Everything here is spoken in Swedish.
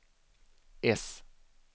S